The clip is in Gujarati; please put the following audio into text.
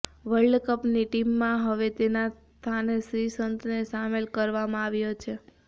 વર્લ્ડકપની ટીમમાં હવે તેના સ્થાને શ્રીસંતને સામેલ કરવામાં આવ્યો છે